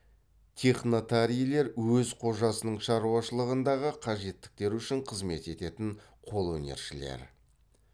технатарийлер өз қожасының шаруашылығындағы қажеттіктер үшін қызмет ететін қолөнершілер